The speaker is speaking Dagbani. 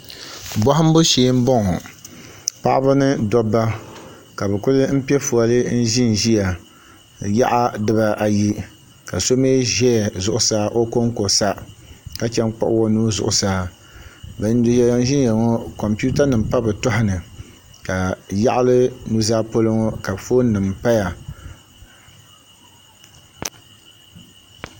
Bohambu shee n boŋo paɣaba ni dabba ka bi kuli pɛ fooli n ʒiya yaɣa dibaa ayi ka so mii ʒɛ zuɣusaa o konko sa chɛn kpuɣu o nuhi zuɣusaa bin mee ʒɛya ŋo kompiuta nim pa bi tooni ka yaɣali nuzaa polo ŋo ka foon nim paya